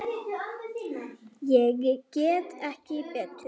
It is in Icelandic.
Ég get ekki betur.